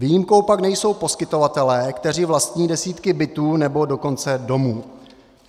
Výjimkou pak nejsou poskytovatelé, kteří vlastní desítky bytů, nebo dokonce domů.